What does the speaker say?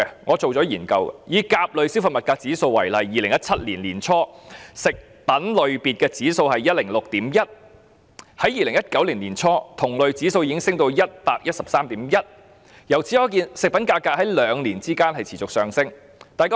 我曾進行研究，以甲類消費物價指數為例 ，2017 年年初食品類別的指數是 106.1， 在2019年年初同類指數已經升到 113.1， 可見食品價格在兩年間持續上升。